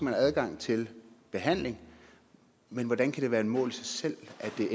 have adgang til behandling men hvordan kan det være et mål i sig selv at det